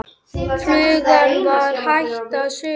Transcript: Flugan var hætt að suða.